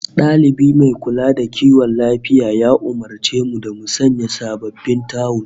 Dalibi mai kula da kiwon lafiya ya umurce mu da mu sayi sababbin tawul